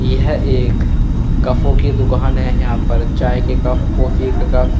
यह एक कफ्फो की दुकान है यहाँ पर चाय के कफ कॉफी के कफ का --